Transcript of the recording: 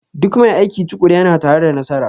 Duk mai aiki tukuru yana tare da nasara